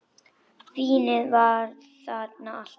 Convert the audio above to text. Vínið var þarna alltaf.